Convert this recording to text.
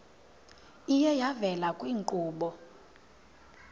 iye yavela kwiinkqubo